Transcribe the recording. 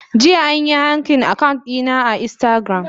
Jiya an yi hacking account dina na instagram.